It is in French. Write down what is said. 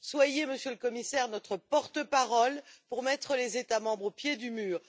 Soyez, Monsieur le Commissaire, notre porte-parole pour mettre les États membres au pied du mur.